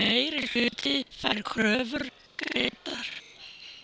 Meirihluti fær kröfur greiddar